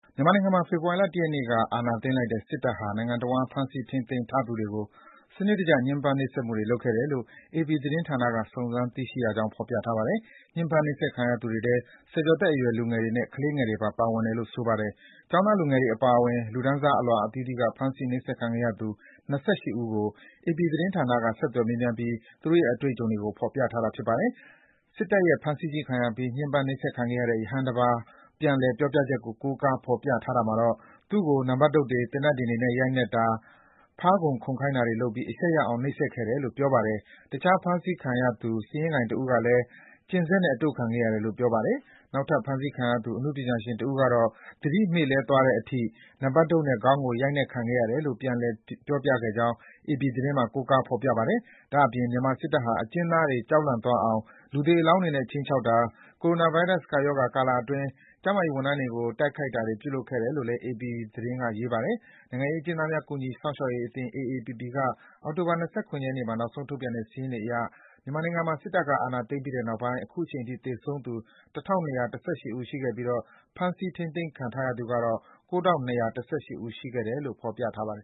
မြန်မာနိုင်ငံမှာ ဖေဖော်ဝါရီလ ၁ ရက်နေ့က အာဏာသိမ်းလိုက်တဲ့ စစ်တပ်ဟာ နိုင်ငံတဝန်း ဖမ်းဆီး ထိန်းသိမ်းထားသူတွေကို စနစ်တကျ ညှဉ်းပန်း နှိပ်စက်မှုတွေ ပြုလုပ်ခဲ့တယ်လို့ အေပီသတင်းဌာနက စုံစမ်းသိရှိရကြောင်း ဖော်ပြထားပါတယ်။ ညှဉ်းပန်း နှိပ်စက်ခံရသူတွေထဲ ဆယ်ကျော်သက်အရွယ် လူငယ်တွေနဲ့ ကလေးငယ်တွေပါ ပါဝင်တယ်လို့ ဆိုပါတယ်။ ကျောင်းသားလူငယ်တွေအပါအဝင် လူတန်းစား အလွှာအသီးသီးက ဖမ်းဆီး နှိပ်စက်ခံခဲ့ရသူ ၂၈ ဦးကို အေပီသတင်းဌာနက ဆက်သွယ်မေးမြန်းပြီး သူတို့ရဲ့ အတွေ့အကြုံတွေကို ဖော်ပြထားတာ ဖြစ်ပါတယ်။ စစ်တပ်ရဲ့ဖမ်းဆီးခြင်းခံရပြီး ညှဉ်းပန်းနှိပ်စက်ခံခဲ့ရတဲ့ ရဟန်းတပါးရဲ့ ပြန်လည် ပြောကြားချက်ကို ကိုးကား ဖော်ပြထားတာမှာတော့ သူ့ကို နံပတ်တုတ်တွေ၊ သေနတ်ဒင်တွေနဲ့ ရိုက်နှက်တာ၊ ဖားခုန် ခုန်ခိုင်းတာတွေလုပ်ပြီး အရှက်ရအောင် နှိပ်စက်ခဲ့တယ်လို့ ဖော်ပြထားပါတယ်။ တခြား ဖမ်းဆီးခံရသူ စာရင်းကိုင်တဦးကလည်း ကျဉ်စက်နဲ့အတို့ခံခဲ့ရတယ်လို့ ပြောပါတယ်။ နောက်ထပ် ဖမ်းဆီးခံရသူ အနုပညာရှင်တဦးကတော့ သူသတိမေ့လဲသွားတဲ့အတိ နံပတ်တုတ်နဲ့ ခေါင်းကို အရိုက်ခံခဲ့ရတယ်လို့ ပြန်လည် ပြောပြခဲ့ကြောင်း အေပီသတင်းမှာ ကိုးကား ဖော်ပြထားပါတယ်။ ဒါ့အပြင် မြန်မာစစ်တပ်ဟာ အကျဉ်းသားတွေ ကြောက်လန့်သွားအောင် လူသေအလောင်းတွေနဲ့ ခြိမ်းချောက်တာ၊ ကိုရိုနာဗိုင်းရပ်စ် ကပ်ရောဂါကာလအတွင်း ကျန်းမာရေးဝန်ထမ်းတွေကို တိုက်ခိုက်တာတွေ ပြုလုပ်ခဲ့တယ်လို့ အေပီသတင်းက ရေးပါတယ်။ နိုင်ငံရေးအကျဉ်းသားများ ကူညီစောင့်ရှောက်ရေးအသင်း (AAPP) က အောက်တိုဘာလ ၂၇ ရက်နေ့မှာ နောက်ဆုံးထုတ်ပြန်ခဲ့တဲ့ စာရင်းတွေအရ မြန်မာနိုင်ငံမှာ စစ်တပ်က အာဏာသိမ်းပြီးတဲ့နောက်ပိုင်း အခုချိန်ထိ သေဆုံးသူ ၁,၂၁၈ ဦးရှိခဲ့ပြီး ဖမ်းဆီး ထိန်းသိမ်းခံရသူကတော့ ၉,၂၈၁ ဦး ရှိခဲ့တယ်လို့ ဖော်ပြထားပါတယ်